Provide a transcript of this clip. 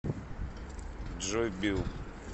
джой билл